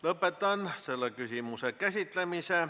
Lõpetan selle küsimuse käsitlemise.